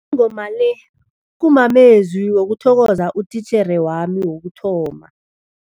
Ingoma le kumamezwi wokuthokoza utitjhere wami wokuthoma.